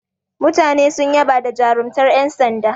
Mutane sun yaba da jarumtar yan sanda.